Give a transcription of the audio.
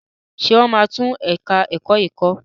Ṣé wọ́n máa tún ẹ̀ka ẹ̀kọ́ yín kọ́?